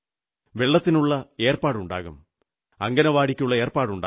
വെള്ളത്തിനുള്ള ഏർപ്പാടുണ്ടാകും അംഗനവാടിയ്ക്കുള്ള ഏർപ്പാടുണ്ടാകും